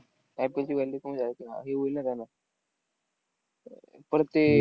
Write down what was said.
कमी हे होईल ना अह परत ते